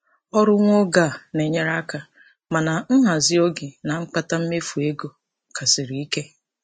Ọrụ nwa oge a na-enyere aka, mana nhazị oge na mkpata mmefu ego ka siri ike.